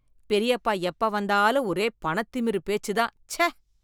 பெரியப்பா எப்ப வந்தாலும் ஒரே பணத்திமிரு பேச்சு தான், ச்சே.